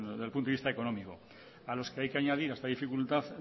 del punto de vista económico a los que hay que añadir esta dificultad